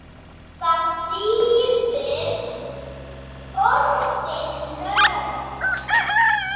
Hvað þýðir orðið nörd?